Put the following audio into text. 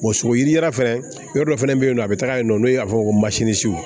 sogo yiri yɛrɛ fɛnɛ yɔrɔ dɔ fɛnɛ bɛ yen nɔ a bɛ taga yen nɔ n'o y'a fɔ ko